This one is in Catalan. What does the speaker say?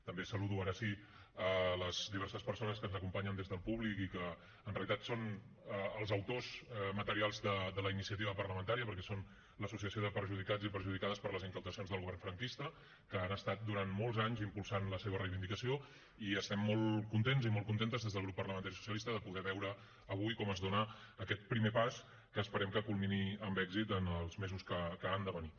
també saludo ara sí les diverses persones que ens acompanyen des del públic i que en realitat són els autors materials de la iniciativa parlamentària perquè són l’associació de perjudicats i perjudicades per les confiscacions del govern franquista que han estat durant molts anys impulsant la seva reivindicació i estem molt contents i molt contentes des del grup parlamentari socialista de poder veure avui com es dona aquest primer pas que esperem que culmini amb èxit en els mesos que han de venir